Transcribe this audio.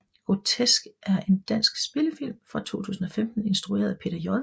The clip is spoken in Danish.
Grotesk er en dansk spillefilm fra 2015 instrueret af Peter J